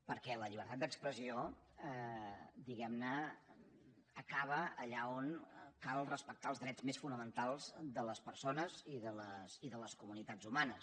perquè la llibertat d’expressió acaba allà on cal respectar els drets més fonamentals de les persones i de les comunitats humanes